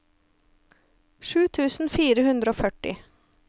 sju tusen fire hundre og førti